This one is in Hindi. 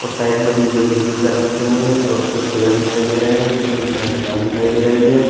साइड में डी_जे के स्पीकर रखे हुए हैं और कुछ पेड़ दिखाई दे रहे हैं और नीचे हरी घास दिखाई दे रही है।